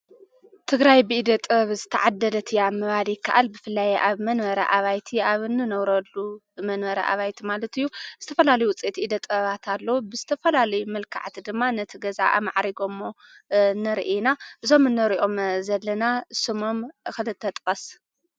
ትግራይ ብኢደ ጥበብ ዝተዓደለት እያ ምባል ይከኣል። ብፍላይ ኣብ መንበሪ ኣባይቲ ኣብ ንነብረሉ መንበሪ ኣባይቲ ማለት እዩ ዝተፈላለዩ ዉጺኢት ኢደ ጥበባት ኣለዉ። ብዝተፈላለዩ መልከዓት ድማ ነቲ ገዛ ኣማዕሪጎሞ ንርኢ ኢና ። እዞም ንሪኦም ዘለና ስሞም ክልተ ጥቀስ ?